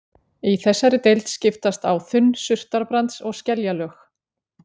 Í þessari deild skiptast á þunn surtarbrands- og skeljalög.